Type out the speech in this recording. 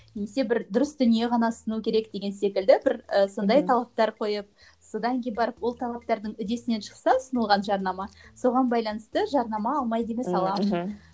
немесе бір дұрыс дүние ғана ұсыну керек деген секілді бір і сондай талаптар қойып содан кейін барып ол талаптардың үдесінен шықса ұсынылған жарнама соған байланысты жарнама алмайды емес аламын